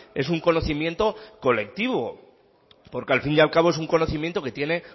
es un conocimiento colectivo porque al fin y al cabo es un conocimiento que tiene